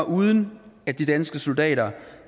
uden at de danske soldater